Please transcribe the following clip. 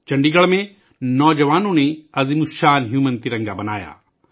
چنڈی گڑھ میں نوجوانوں نے ایک عظیم انسانی ترنگا بنایا